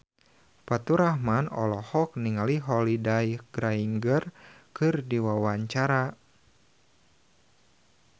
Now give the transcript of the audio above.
Faturrahman olohok ningali Holliday Grainger keur diwawancara